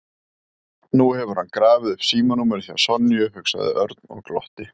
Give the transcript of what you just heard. Nú hefur hann grafið upp símanúmerið hjá Sonju, hugsaði Örn og glotti.